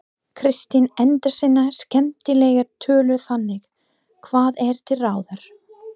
Kristín endar sína skemmtilegu tölu þannig: Hvað er til ráða?